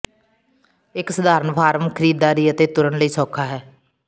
ਇੱਕ ਸਧਾਰਨ ਫਾਰਮ ਖਰੀਦਦਾਰੀ ਅਤੇ ਤੁਰਨ ਲਈ ਸੌਖਾ ਹੈ